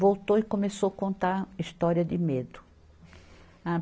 Voltou e começou contar história de medo. A